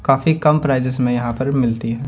काफी कम प्राइसेस में यहां पर मिलती हैं।